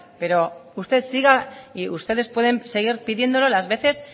pero usted siga y ustedes pueden seguir pidiéndolo las veces